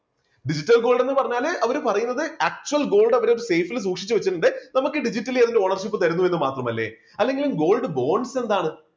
digital gold എന്ന് പറഞ്ഞാൽ അവര് പറയുന്നത് actual gold അവര് safe ല് സൂക്ഷിച്ചുവെച്ചിട്ടുണ്ട് നമുക്ക് digitally അതിന്റെ ownership തരുന്നു എന്ന് മാത്രമല്ലേ അല്ലെങ്കിലും gold bonds എന്താണ്?